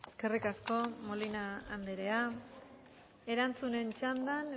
eskerrik asko molina andrea erantzunen txandan